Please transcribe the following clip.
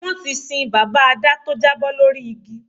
Wọ́n ti sin bàbá Adá tó jábọ́ lórí igi